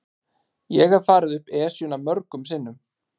Ég hef farið upp Esjuna mörgum sinnum.